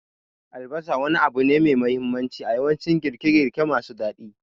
Albasa wani abu ne mai mahimmanci a yawancin girke-girke masu daɗi.